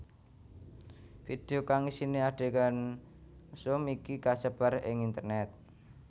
Video kang isiné adhegan mesum iki kasebar ing internét